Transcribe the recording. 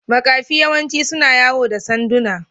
Makafi yawanci suna yawo da sanduna.